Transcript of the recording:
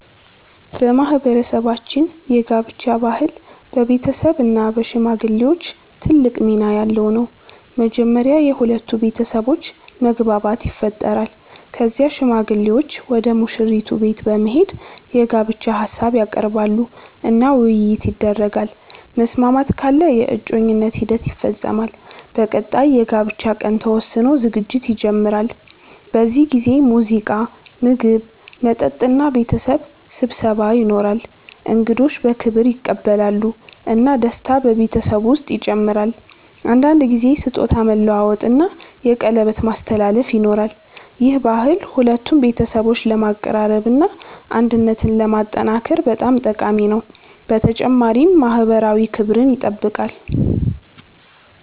በማህበረሰባችን የጋብቻ ባህል በቤተሰብ እና በሽማግሌዎች ትልቅ ሚና ያለው ነው። መጀመሪያ የሁለቱ ቤተሰቦች መግባባት ይፈጠራል። ከዚያ ሽማግሌዎች ወደ ሙሽራይቱ ቤት በመሄድ የጋብቻ ሀሳብ ያቀርባሉ እና ውይይት ይደረጋል። መስማማት ካለ የእጮኝነት ሂደት ይፈጸማል። በቀጣይ የጋብቻ ቀን ተወስኖ ዝግጅት ይጀመራል። በዚህ ጊዜ ሙዚቃ፣ ምግብ፣ መጠጥ እና ቤተሰብ ስብሰባ ይኖራል። እንግዶች በክብር ይቀበላሉ እና ደስታ በቤተሰቡ ውስጥ ይጨምራል። አንዳንድ ጊዜ ስጦታ መለዋወጥ እና የቀለበት ማስተላለፍ ይኖራል። ይህ ባህል ሁለቱን ቤተሰቦች ለማቀራረብ እና አንድነትን ለማጠናከር በጣም ጠቃሚ ነው፣ በተጨማሪም ማህበራዊ ክብርን ይጠብቃል።